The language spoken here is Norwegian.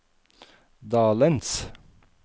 dalens